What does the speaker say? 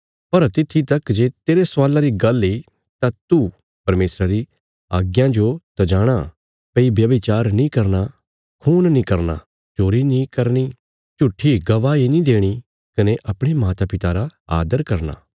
पर तित्थी तक जे तेरे स्वाला री गल्ल इ तां तू परमेशरा री आज्ञां जो त जाणाँ भई व्याभिचार नीं करना खून नीं करना चोरी नीं करनी झूट्ठी गवाही नीं देणी कने अपणे माता पिता रा आदर करना